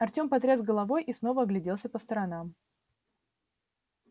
артём потряс головой и снова огляделся по сторонам